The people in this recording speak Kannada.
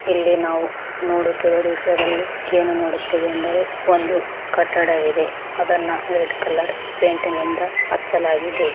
ಇಲ್ಲಿ ನಾವು ನೋಡುತ್ತಿರುವ ದೃಶ್ಯದಲ್ಲಿ ಏನು ನೋಡುತ್ತೇವೆ ಅಂದರೆ ಒಂದು ಕಟ್ಟಡವಿದೆ ಅದನ್ನು ರೆಡ್ ಕಲರ್ ಪೈಂಟ್ ನಿಂದ ಹಚ್ಚಲಾಗಿದೆ.